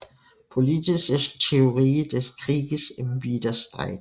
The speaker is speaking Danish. Politische Theorie des Krieges im Widerstreit